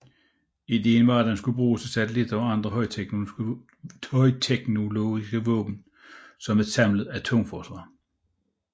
Ideen var at der skulle bruges satellitter og andre højteknologiske våben som et samlet atomforsvar